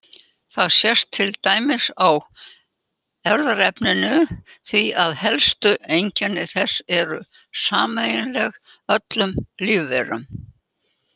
Það sést til dæmis á erfðaefninu því að helstu einkenni þess eru sameiginleg öllum lífverum.